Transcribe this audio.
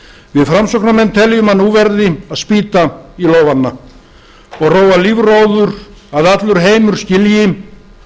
við framsóknarmenn teljum að nú verði að spýta í lófana og róa lífróður svo að allur heimur skilji